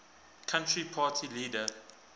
country party leader